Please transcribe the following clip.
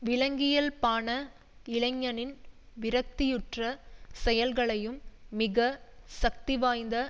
விலங்கியல்பான இளைஞனின் விரக்தியுற்ற செயல்களையும் மிக சக்திவாய்ந்த